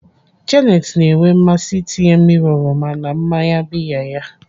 Janet na-enwe mmasị ịtinye mmiri oroma na mmanya biya ya.